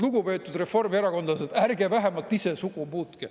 Lugupeetud reformierakondlased, ärge vähemalt ise sugu muutke.